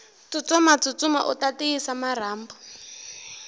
tsutsuma tsutsuma uta tiyisa marhambu